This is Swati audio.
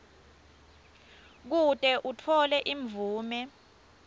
kute utfole imvume